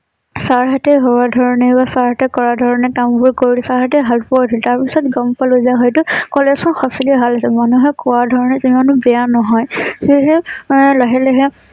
Sir সতে ভবা ধৰণে বা চাৰ সতে কৰা ধৰণে কাম বোৰ কৰি তাৰ পিছত গম পালোঁ যে হয়তো কলেজ খন সঁচাকৈয়ে ভাল আছিল । মনুহে কোৱা ধৰণে ইমান বেয়া নহয়। সেয়েহে মই লাহে লাহে